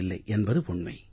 இல்லை என்பது உண்மை